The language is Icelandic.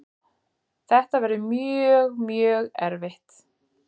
Þetta verður mjög, mjög erfitt.